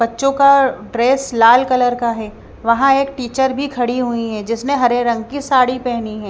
बच्चों का ड्रेस लाल कलर का है वहाँ एक टीचर भी खड़ी हुई है जिसने हरे रंग की साड़ी पहनी है।